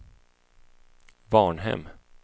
Varnhem